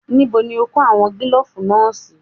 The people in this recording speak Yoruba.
Níbo ni o kó àwọn kílòfù náà sí?